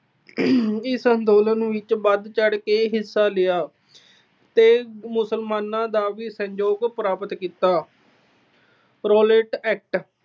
ਇਸ ਅੰਦੋਲਨ ਵਿੱਚ ਵਧ ਚੜ੍ਹ ਕੇ ਹਿੱਸਾ ਲਿਆ ਤੇ ਮੁਸਲਮਾਨਾਂ ਦਾ ਵੀ ਸਹਿਯੋਗ ਪ੍ਰਾਪਤ ਕੀਤਾ। Rowlatt Act